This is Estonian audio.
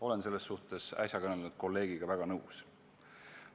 Olen selles suhtes äsja kõnelenud kolleegiga väga nõus.